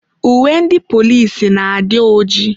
Uwe ndị polisi na-adị ojii.